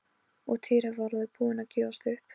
Og Týri var alveg búinn að gefast upp.